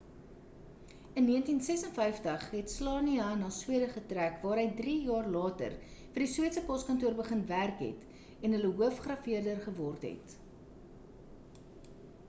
in 1956 het słania na swede getrek waar hy drie jaar later vir die sweedse poskantoor begin werk het en hulle hoof grafeerder geword het